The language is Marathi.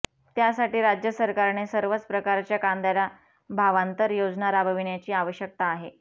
त्यासाठी राज्य सरकारने सर्वच प्रकारच्या कांद्याला भावांतर योजना राबविण्याची आवश्यकता आहे